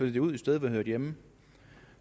det ud et sted hvor det hører hjemme